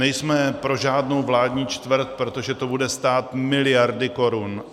Nejsme pro žádnou vládní čtvrť, protože to bude stát miliardy korun.